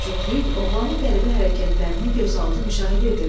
Cütlük oğlanın qəribə hərəkətlərini gözaltı müşahidə edirdi.